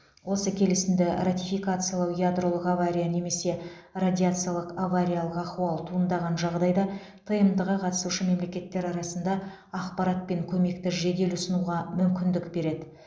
осы келісімді ратификациялау ядролық авария немесе радиациялық авариялық ахуал туындаған жағдайда тмд ға қатысушы мемлекеттер арасында ақпарат пен көмекті жедел ұсынуға мүмкіндік береді